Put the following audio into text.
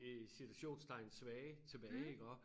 I citationstegn svage tilbage iggå